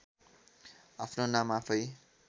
आफ्नो नाम आफै